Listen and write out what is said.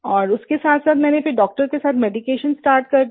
और उसके साथसाथ मैंने फिर डॉक्टर के साथ मेडिकेशन स्टार्ट कर दी